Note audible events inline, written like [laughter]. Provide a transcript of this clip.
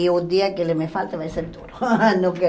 E o dia que ele me falta vai ser duro. [laughs] Não quero